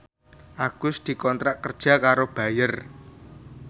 Agus dikontrak kerja karo Bayer